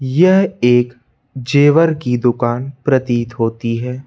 यह एक जेवर की दुकान प्रतीत होती है।